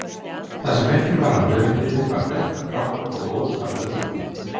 Það sem eftir var af hörundinu var dökkgrátt og óskaplega þrútið.